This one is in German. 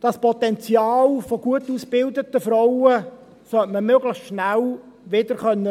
Das Potenzial von gut ausgebildeten Frauen sollte man möglichst schnell wieder nutzen können.